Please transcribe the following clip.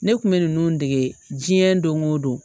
Ne kun bɛ ninnu dege diɲɛ don o don